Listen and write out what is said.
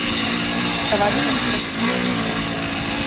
Það var í sjálfu sér ekkert mikið sem breyttist.